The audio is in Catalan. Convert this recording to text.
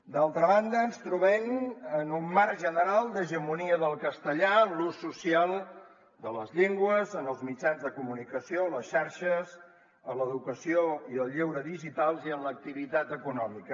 d’altra banda ens trobem en un marc general d’hegemonia del castellà en l’ús social de les llengües en els mitjans de comunicació a les xarxes a l’educació i al lleure digitals i en l’activitat econòmica